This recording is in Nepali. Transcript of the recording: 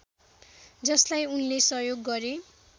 जसलाई उनले सहयोग गरे